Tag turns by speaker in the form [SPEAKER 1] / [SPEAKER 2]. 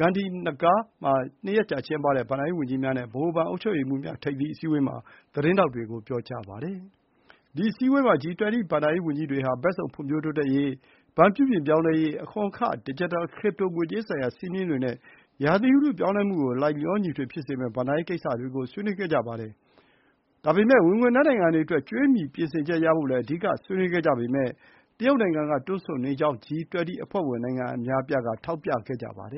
[SPEAKER 1] Gandhinagar မှာ နှစ်ရက်ကြာကျင်းပတဲ့ ဘဏ္ဍာရေးဝန်ကြီးများနဲ့ ဗဟိုဘဏ် အုပ်ချုပ်ရေးမှူးများ ထိပ်သီးအစည်းအဝေးအပြီးမှာ သတင်းထောက်တွေကို ပြောပါတယ်။ ဒီအစည်းအဝေးမှာ G20 ဘဏ္ဍာရေးဝန်ကြီးတွေဟာ ဘက်စုံဖွံ့ဖြိုးတိုးတက်ရေး၊ ဘဏ် ပြုပြင်ပြောင်း လဲရေး၊ အခွန်အခ၊ ဒစ်ဂျစ်တဲလ် crypto ငွေကြေးဆိုင်ရာ စည်းမျဉ်းတွေနဲ့ ဥတုရာသီပြောင်းလဲမှုကို လိုက်လျောညီထွေဖြစ်စေမယ့် ဘဏ္ဍာရေးဆိုင်ရာများကို ဆွေးနွေးခဲ့ကြပါတယ်။ ဝင်ငွေနည်းနိုင်ငံတွေအတွက် ကြွေးမြီပြင်ဆင်ချက်ရဖို့လည်း အဓိကထားဆွေးနွေးခဲ့ကြပေမယ့် ဒါကို တရုတ်နိုင်ငံက တွန့်ဆုတ်နေကြောင်း G20 အဖွဲ့ဝင်နိုင်ငံအများအပြားက ထောက်ပြခဲ့ကြပါတယ